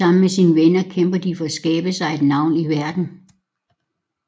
Sammen med sine venner kæmper de for at skabe sig et navn i verden